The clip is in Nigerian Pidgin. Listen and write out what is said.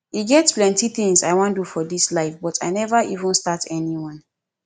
e get plenty things i wan do for dis life but i never even start anyone